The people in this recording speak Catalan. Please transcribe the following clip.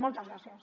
moltes gràcies